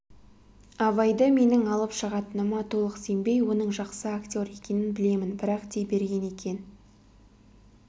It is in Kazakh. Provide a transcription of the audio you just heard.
абайды менің алып шығатыныма толық сенбей оның жақсы актер екенін білемін бірақ дей берген екен